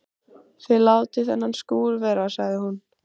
Þið látið þennan skúr vera sagði hún.